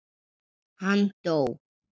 Hann dó.